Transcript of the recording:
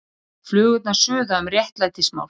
Flugurnar suða um réttlætismál